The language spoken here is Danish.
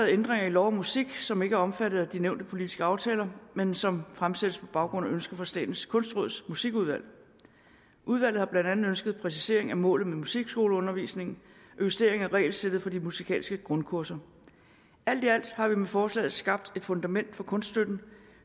ændringer i lov om musik som ikke er omfattet af de nævnte politiske aftaler men som fremsættes på baggrund af et ønske fra statens kunstråds musikudvalg udvalget har blandt andet ønsket præcisering af målet med musikskoleundervisningen og justering af regelsættet for de musikalske grundkurser alt i alt har vi med forslaget skabt et fundament for kunststøtten